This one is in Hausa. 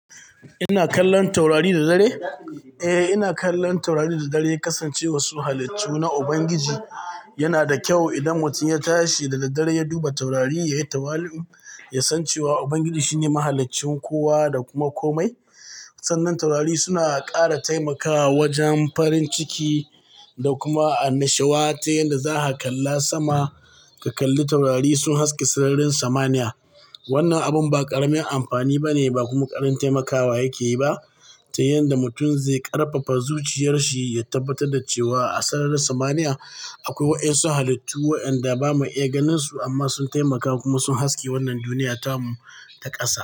Ina kallon taurari da dare? Eh, ina kallon taurari da dare kasance wassu halittu na Ubangiji. Yana da kyau idan mutum ya tashi da daddare ya duba taurari, ya yi tawali'u, ya san cewa Ubangiji shine mahaliccin kowa da kuma komai. Sannan taurari suna ƙara taimakawa wajen farin ciki da kuma annashawa ta yadda za ka kalla sama, ka kalli taurari sun haske sararin samaniya. Wannan abun ba ƙaramin amfani ba ne ba kuma ƙaramin taimakawa yake yi ba ta yanda mutum zai ƙarfafa zuciyarshi ya tabbatar da cewa a sararin samaniya akwai wayansu halittu waɗanda ba ma iya ganinsu amma sun taimaka kuma sun haske wannan duniyata mu ta ƙasa.